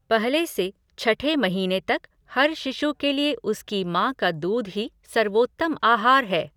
पहले से छठे महीने तक हर शिशु के लिए उसकी माँ का दूध ही सर्वोत्तम आहार है।